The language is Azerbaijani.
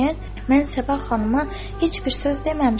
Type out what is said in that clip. "Mən Səba xanıma heç bir söz deməmişəm.